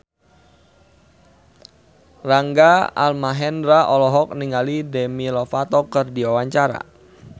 Rangga Almahendra olohok ningali Demi Lovato keur diwawancara